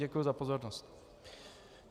Děkuji za pozornost.